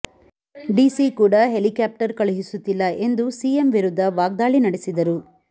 DC ಕೂಡ helicopter ಕಳುಸುತ್ತಿಲ್ಲ ಎಂದು ಎಂದು ಸಿಎಂ ವಿರುದ್ಧ ವಾಗ್ದಾಳಿ ನಡೆಸಿದರು